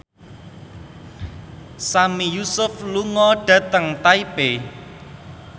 Sami Yusuf lunga dhateng Taipei